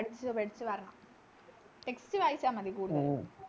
പഠിച്ച് വെച്ച് വരണം Text വായിച്ച മതി കൂടുതലും